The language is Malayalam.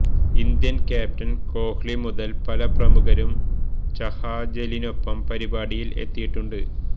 ഇന്ത്യന് ക്യാപ്റ്റന് കോഹ്ലി മുതല് പല പ്രമുഖരും ചഹാജലിനൊപ്പം പരിപാടിയില് എത്തിയിട്ടുണ്ട്